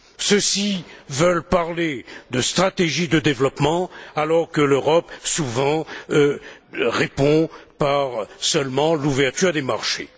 Ceux ci veulent parler de stratégie de développement alors que l'Europe, souvent, répond seulement par l'ouverture des marchés.